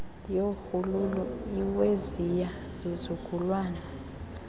yorhuululu iweziya zizukulwana